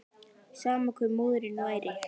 Sama hver móðirin væri.